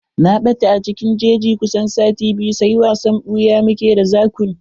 Na ɓata a cikin jeji na kusan sati biyu, sai wasan ɓuya mu ke d zakun.